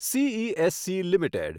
CESC limited